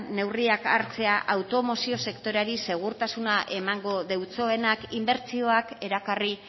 neurriak hartzea automozio sektoreari segurtasuna emango deutsoenak inbertsioak erakarri